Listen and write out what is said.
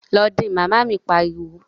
Lọ din! Màmá mi pariwo